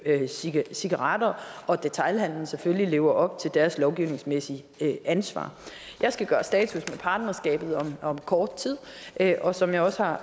cigaretter og at detailhandelen selvfølgelig lever op til deres lovgivningsmæssige ansvar jeg skal gøre status for partnerskabet om kort tid og som jeg også har